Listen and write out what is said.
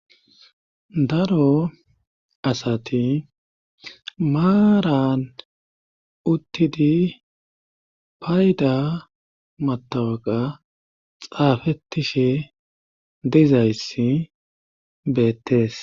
daro asati maaran uttidi payda matawaqa xaafetishe dizayssi beettees